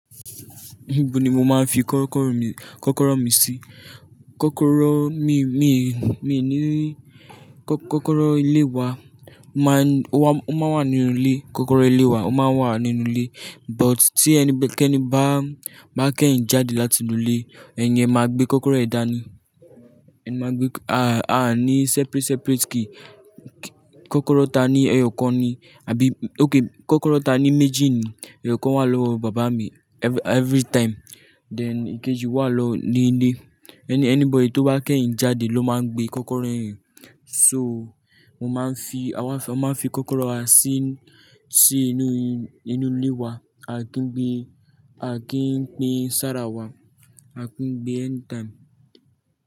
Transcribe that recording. Ibo ni mo máa ń fi kọ́kọ́rọ́ mi, kọ́kọ́rọ́ mi sí. Kọ́kọ́rọ́ mi, mi, mi ní kọ́kọ́rọ́ ilé wa má ń, ó má ń wà nínú ilé. Kọ́kọ́rọ́ ilé wa ó máa ń wà nínú ilé but tí ẹni bá, kí ẹni bá, bá kẹ́hìn jáde láti inú ilé, ẹni yẹn máa gbé kọ́kọ́rọ́ ẹ dání. Ẹ máa gbé, a, a ní separate, separate key kọ́kọ́rọ́ ta ní ẹyọ̀kan ni àbí okay kọ́kọ́rọ́ ta ní méjì ni. Ẹyọ̀kan wà lọ́wọ́ bàbá mi every, every time then ìkejì wà lọ ní ilé. Any, anybody tó bá kẹ́hìn jáde ló máa ń gbé kọ́kọ́rọ́ ẹ́ yẹn. So mo máa ń fi, a máa ń fi kọ́kọ́rọ́ wa sí, sí inú, inú ilé wa. A kì ń gbé, a kì í pín ṣára wa. A kì ń gbé anytime.